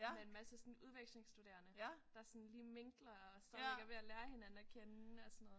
Med en masse sådan udvekslingsstuderende der sådan lige mingler og stadigvæk er ved at lære hinanden at kende og sådan noget